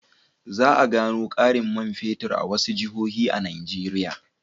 Za a gano ƙarin man fetur a wasu jihohi a Nigeriya.